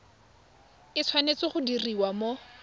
e tshwanetse go diriwa mo